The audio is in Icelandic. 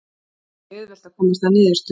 Ekki auðvelt að komast að niðurstöðu